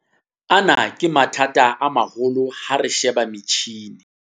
Ana ke mathata a maholo ha re sheba metjhini.